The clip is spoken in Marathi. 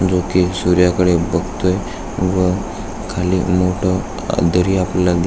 जो की सूर्याकडे बघतोय व खाली मोठ दरी आपल्याला--